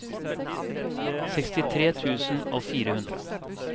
sekstitre tusen og fire hundre